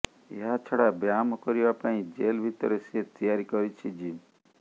ଏହାଛଡ଼ା ବ୍ୟାୟାମ କରିବା ପାଇଁ ଜେଲ ଭିତରେ ସେ ତିଆରି କରିଛି ଜିମ୍